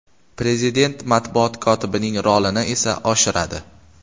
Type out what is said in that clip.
Prezident matbuot kotibining rolini esa oshiradi.